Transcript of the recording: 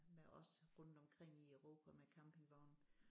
Med os rundt omkring i Europa med campingvognen